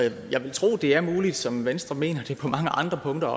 jeg vil tro at det er muligt sådan som venstre mener det på mange andre punkter